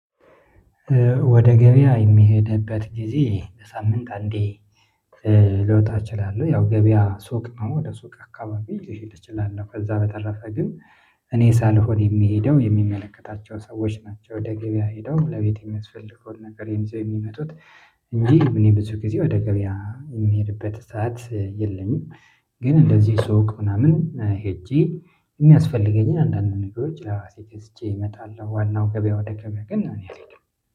ወደ ገበያ የምሄድበት ጊዜ ከሳምንት አንዴ ልወጣ እችላለሁ። ያው ገበያ ሱቅ ነው ወደ ሱቅ አካባቢ ልሄድ እችላለሁ። ከዛ በተረፈ ግን እኔ ሳልሆን የሚሄደው የሚመለከታቸው ሰዎች ናቸው ወደ ገበያ ሄደው ለቤት የሚያስፈልገውን ነገር ይዘው የሚመጡት እንጂ ብዙ ጊዜ ወደ ገበያ የምሄድበት ሰዓት የለኝም። ግን እንደዚህ ሱቅ ምናምን ሄጄ የሚያስፈልገኝን አንዳንድ ነገሮች ለራሴ ገዝቼ እመጣለሁ። ዋናው ገበያ ወደ ገበያ ግን እኔ አልሄድም